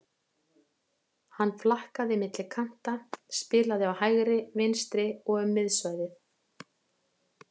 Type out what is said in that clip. Hann flakkaði milli kanta, spilaði á hægri, vinstri og um miðsvæðið.